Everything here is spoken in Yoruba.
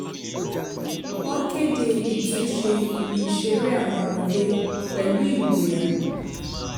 wọ́n kéde ìtúnṣe ibi ìṣeré àwọn ọmọde pẹ̀lú ìgboyà